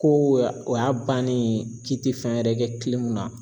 Ko y'a o y'a bannen k'i ti fɛn wɛrɛ kɛ na.